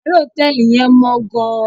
Yàrá hotẹẹli yẹn mọ gàn